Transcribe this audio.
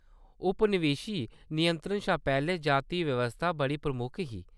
उपनिवेशी नियंत्रण शा पैह्‌लें, जाति व्यवस्था बड़ी प्रमुख ही।